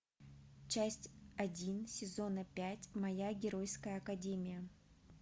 часть один сезона пять моя геройская академия